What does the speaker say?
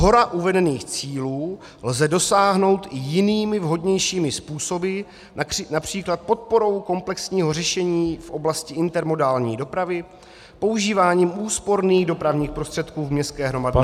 Shora uvedených cílů lze dosáhnout i jinými, vhodnějšími způsoby, například podporou komplexního řešení v oblasti intermodální dopravy, používáním úsporných dopravních prostředků v městské hromadné dopravě -